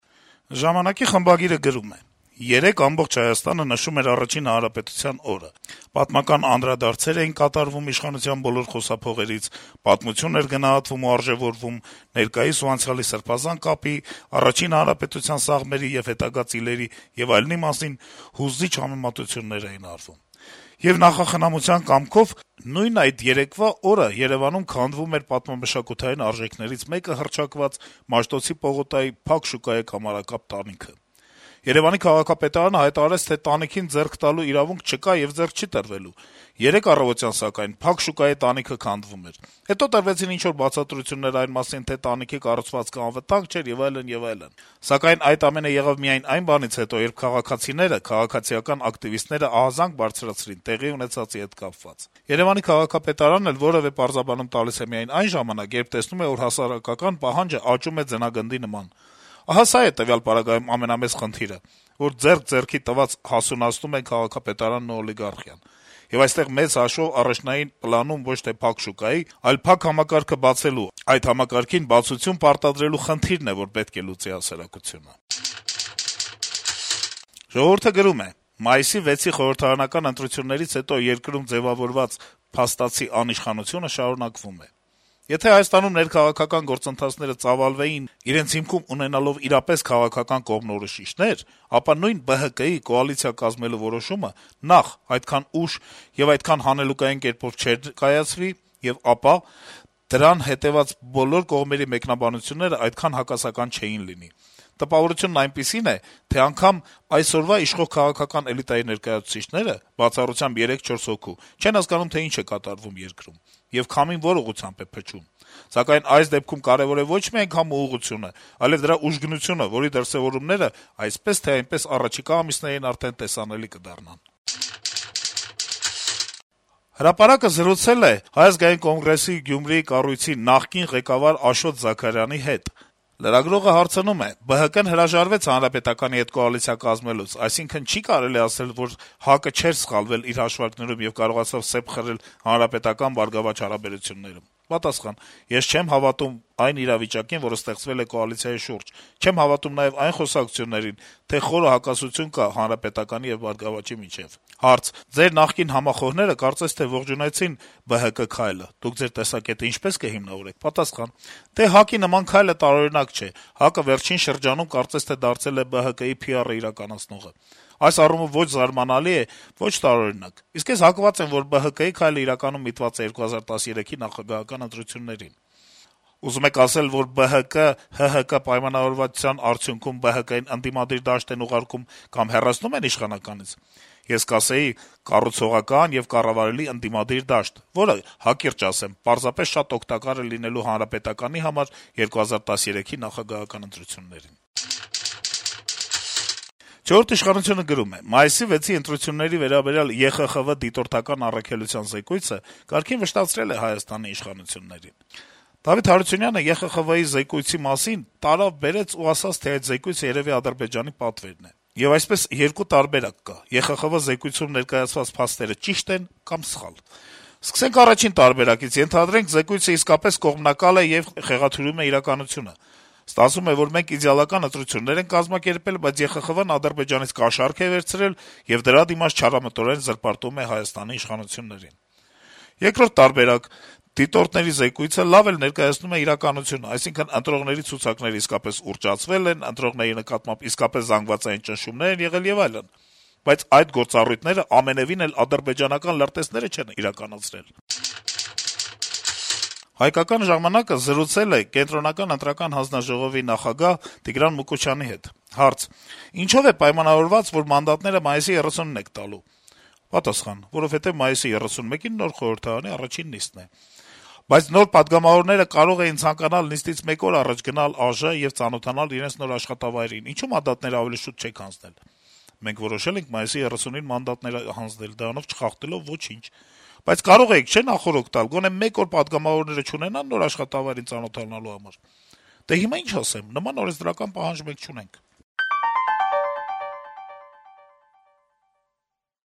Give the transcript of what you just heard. «Ժամանակ»-ի խմբագիրը գրում է. - «Երեկ ամբողջ Հայաստանը նշում էր Առաջին հանրապետության օրը, պատմական անդրադարձեր էին կատարվում իշխանության բոլոր խոսափողերից, պատմություն էր գնահատվում ու արժեվորվում, ներկայիս եւ անցյալի սրբազան կապի, Առաջին հանրապետության սաղմերի եւ հետագա ծիլերի եւ այլնի մասին հուզիչ համեմատություններ էին արվում։ Եվ նախախնամության կամքով, նույն այդ երեկվա օրը Երեւանում քանդվում էր պատմամշակութային արժեքներից մեկը հռչակված Մաշտոցի պողոտայի «Փակ շուկայի» կամարակապ տանիքը։ Երեւանի քաղաքապետարանը հայտարարեց, թե տանիքին ձեռք տալու իրավունք չկա եւ ձեռք չի տրվելու։ Երեկ առավոտյան, սակայն, «Փակ շուկայի» տանիքը քանդվում էր։ Հետո արվեցին ինչ-որ բացատրություններ այն մասին, թե տանիքի կառուցվածքը անվտանգ չէր եւ այլն, եւ այլն։ Սակայն այդ ամենը եղավ միայն այն բանից հետո, երբ քաղաքացիները, քաղաքացիական ակտիվիստները ահազանգ բարձրացրին տեղի ունեցածի հետ կապված։ Երեւանի քաղաքապետարանն էլ որեւէ պարզաբանում տալիս է միայն այն ժամանակ, երբ տեսնում է, որ հասարակական պահանջն աճում է ձնագնդի նման։ Ահա սա է տվյալ պարագայում ամենամեծ խնդիրը, որ ձեռք-ձեռքի տված հասունացնում են քաղաքապետարանն ու օլիգարխիան։ Եվ այստեղ, մեծ հաշվով, առաջնային պլանում ոչ թե «Փակ շուկայի», այլ փակ համակարգը բացելու, այդ համակարգին բացություն պարտադրելու խնդիրն է, որ պետք է լուծի հասարակությունը»։ «Ժողովուրդ»-ը գրում է. - «Մայիսի 6-ի խորհրդարանական ընտրություններից հետո երկրում ձեւավորված փաստացի անիշխանությունը շարունակվում է: Եթե Հայաստանում ներքաղաքական գործընթացները ծավալվեին` իրենց հիմքում ունենալով իրապես քաղաքական կողմնորոշիչներ, ապա նույն ԲՀԿ-ի` կոալիցիա կազմելու որոշումը նախ` այդքան ուշ եւ այդքան հանելուկային կերպով չէր կայացվի, եւ ապա` դրան հետեւած բոլոր կողմերի մեկնաբանություններն այդքան հակասական չէին լինի: Տպավորությունն այնպիսին է, թե անգամ այսօրվա իշխող քաղաքական էլիտայի ներկայացուցիչները, բացառությամբ 3-4 հոգու, չեն հասկանում, թե ինչ է կատարվում երկրում, եւ քամին որ ուղղությամբ է փչում: Սակայն այս դեպքում կարեւոր է ոչ միայն քամու ուղղությունը, այլեւ դրա ուժգնությունը, որի դրսեւորումները, այսպես թե այնպես, առաջիկա ամիսներին արդեն տեսանելի կդառնան»: «Հրապարակ»-ը զրուցել է Հայ ազգային կոնգրեսի Գյումրիի կառույցի նախկին ղեկավար Աշոտ Զաքարյանի հետ: Լրագրողը հարցնում է. - «ԲՀԿ-ն հրաժարվեց ՀՀԿ-ի հետ կոալիցիա կազմելուց, այսինքն չի՞ կարելի ասել, որ ՀԱԿ-ը չէր սխալվել իր հաշվարկներում եւ կարողացավ սեպ խրել ՀՀԿ-ԲՀԿ հարաբերություններում»: Պատասխան. - «Ես չեմ հավատում այն իրավիճակին, որը ստեղծվել է կոալիցիայի շուրջ, չեմ հավատում նաեւ այն խոսակցություններին, թե խորը հակասություններ կան ՀՀԿ-ի եւ ԲՀԿ-ի միջեւ»: Հարց. - «Ձեր նախկին համախոհները կարծես ողջունեցին ԲՀԿ քայլը, Դուք Ձեր տեսակետն ինչպե՞ս կհիմնավորեք»: Պատասխան. - «Դե, ՀԱԿ-ի նման քայլը տարօրինակ չէ, ՀԱԿ-ը վերջին շրջանում կարծես թե դարձել է ԲՀԿ-ի PR-ն իրականացնողը: Այս առումով ո’չ զարմանալի է, ո’չ տարօրինակ: Իսկ ես հակված եմ, որ ԲՀԿ-ի քայլն իրականում միտված է 2013թ. նախագահական ընտրություններին»: Հարց. -« Ուզում եք ասել, որ ՀՀԿ-ԲՀԿ պայմանավորվածության արդյունքո՞ւմ են ԲՀԿ-ին ընդդիմադիր դաշտ ուղարկում կամ հեռացնում իշխանականից»: Պատասխան. - «Ես կասեի՝ կառուցողական եւ կառավարելի ընդդիմադիր դաշտ, որը, հակիրճ ասեմ, պարզապես շատ օգտակար է լինելու ՀՀԿ-ի համար 2013թ. նախագահական ընտրություններին»: «Չորրորդ ինքնիշխանություն»-ը գրում է. - «Մայիսի 6-ի ընտրությունների վերաբերյալ ԵԽԽՎ դիտորդական առաքելության զեկույցը կարգին վշտացրել է Հայաստանի իշխանություններին: Դավիթ Հարությունյանը ԵԽԽՎ-ի զեկույցի մասին տարավ-բերեց ու ասաց, թե այդ զեկույցը երեւի Ադրբեջանի պատվերն է: Եվ այսպես, երկու տարբերակ կա. ԵԽԽՎ զեկույցում ներկայացված փաստերը ճիշտ են կամ սխալ: Սկսենք առաջին տարբերակից. ենթադրենք զեկույցը իսկապես կողմնակալ է եւ խեղաթյուրում է իրականությունը: Ստացվում է, որ մենք իդեալական ընտրություններ ենք կազմակերպել, բայց ԵԽԽՎ-ն Ադրբեջանից կաշառք է վերցրել եւ դրա դիմաց չարամտորեն զրպարտում է Հայաստանի իշխանություններին: Երկրորդ տարբերակ. դիտորդների զեկույցը լավ էլ ներկայացնում է իրականությունը, այսինքն` ընտրողների ցուցակները իսկապես ուռճացվել են, ընտրողների նկատմամբ իսկապես զանգվածային ճնշումներ են եղել եւ այլն, բայց այդ գործառույթները ամենեւին էլ ադրբեջանական լրտեսները չեն իրականացրել»: «Հայկական ժամանակ»-ը զրուցել է ԿԸՀ-ի նախագահ Տիգրան Մուկուչյանի հետ: Հարց. - «Ինչո՞վ է պայմանավորված, որ մայիսի 30-ին եք մանդատները տալու»: Պատասխան. - «Որովհետեւ մայիսի 31-ին նոր խորհրդարանի առաջին նիստն է»: Հարց. - «Բայց նոր պատգամավորները կարող էին ցանկանալ նիստից մեկ օր առաջ գնալ ԱԺ եւ ծանոթանալ իրենց նոր աշխատավայրին, ինչո՞ւ մանդատներն ավելի շուտ չեք հանձնել»: Պատասխան. - «Մենք որոշել ենք մայիսի 30-ին մանդատները հանձնել` դրանով չխախտելով ոչինչ»: Հարց. -« Բայց կարող էիք, չէ՞, նախօրոք տալ, գոնե մեկ օր պատգամավորները չունենա՞ն` նոր աշխատավայրին ծանոթանալու համար»: Պատասխան. - «Դե, հիմա ի՞նչ ասեմ: Նման օրենսդրական պարտադիր պահանջ մենք չունենք»: